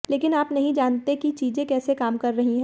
लेकिन आप नहीं जानते कि चीजें कैसे काम कर रही है